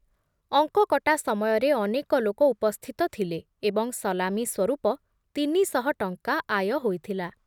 ଅଙ୍କ କଟା ସମୟରେ ଅନେକ ଲୋକ ଉପସ୍ଥିତ ଥିଲେ ଏବଂ ସଲାମୀ ସ୍ବରୂପ ତିନି ଶହ ଟଙ୍କା ଆୟ ହୋଇଥିଲା ।